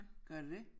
Gør det det?